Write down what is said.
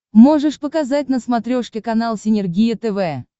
можешь показать на смотрешке канал синергия тв